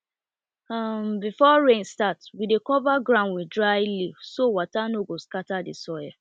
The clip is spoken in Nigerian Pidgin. before rain start we dey cover ground with dry leaf so water no go scatter the soil